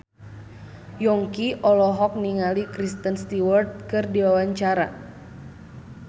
Yongki olohok ningali Kristen Stewart keur diwawancara